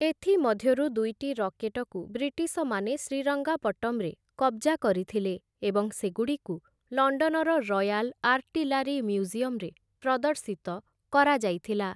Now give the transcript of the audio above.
ଏଥିମଧ୍ୟରୁ ଦୁଇଟି ରକେଟକୁ ବ୍ରିଟିଶମାନେ ଶ୍ରୀରଙ୍ଗାପଟ୍ଟମ୍‌ରେ କବ୍‌ଜା କରିଥିଲେ ଏବଂ ସେଗୁଡ଼ିକୁ ଲଣ୍ଡନର ରୟାଲ ଆର୍ଟିଲାରୀ ମ୍ୟୁଜିୟମ୍‌ରେ ପ୍ରଦର୍ଶିତ କରାଯାଇଥିଲା ।